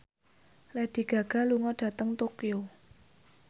Lady Gaga lunga dhateng Tokyo